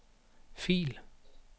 fil